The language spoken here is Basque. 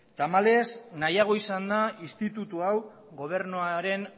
tamalez nahiago izan da instituto hau gobernuaren